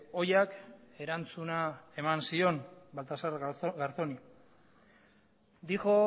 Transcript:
ohiak erantzuna eman zion baltasar garzóni dijo